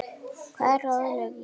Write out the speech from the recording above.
Hvað ráðlegg ég honum?